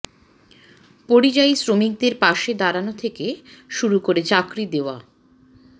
পরিযায়ী শ্রমিকদের পাশে দাঁড়ানো থেকে শুরু করে চাকরি দেওয়া